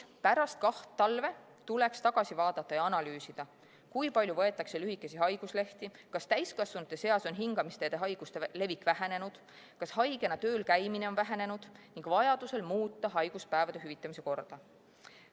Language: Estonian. Pärast kahte talve tuleks tagasi vaadata ja analüüsida, kui palju võetakse lühikesi haiguslehti, kas täiskasvanute seas on hingamisteede haiguste levik vähenenud, kas haigena tööl käimine on vähenenud, ning vajaduse korral muuta haiguspäevade hüvitamise korda.